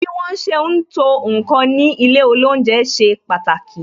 Bí wọn ṣe ń to ǹkan ní ilé olounje ṣe pàtàkì